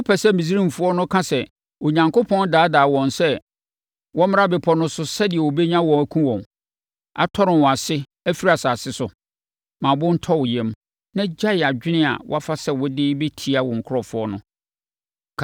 Wopɛ sɛ Misraimfoɔ no ka sɛ, ‘Onyankopɔn daadaa wɔn sɛ wɔmmra bepɔ no so sɛdeɛ ɔbɛnya wɔn akum wɔn, atɔre wɔn ase afiri asase so?’ Ma wo bo ntɔ wo yam na gyae adwene a woafa sɛ wode rebɛtia wo nkurɔfoɔ no.